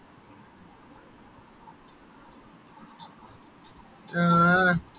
ആ